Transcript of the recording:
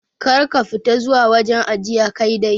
Kar ka fita zuwa wajen ajiye Kai dai.